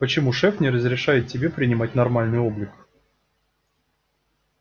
почему шеф не разрешает тебе принимать нормальный облик